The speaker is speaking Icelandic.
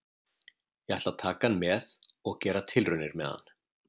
Ég ætla að taka hann með og gera tilraunir með hann.